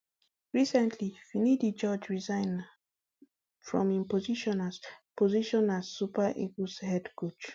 recently finidi george resign um from im position as position as super eagles head coach